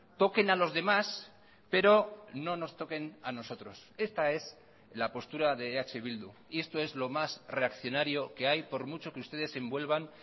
toquen a los demás pero no nos toquen a nosotros esta es la postura de eh bildu y esto es lo más reaccionario que hay por mucho que ustedes se envuelvan